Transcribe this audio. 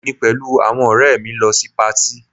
Èmi pẹ̀lú àwọn ọ̀rẹ́ mi lọ sí patí